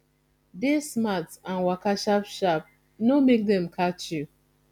dey smart and waka sharp sharp no make dem catch you